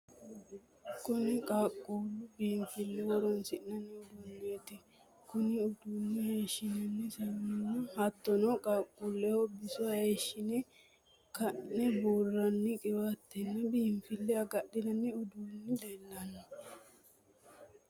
Kunni qaaquuleho biinfilu horoonsi'nanni uduuneeti. Kunni uduune hayishinanni saamunanna hattono qaaquuleho biso hayishine Ka'ne buuranni qiwaatenna biinfile agadhinanni uduunni leelano.